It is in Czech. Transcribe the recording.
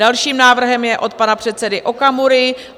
Další návrh je od pana předsedy Okamury.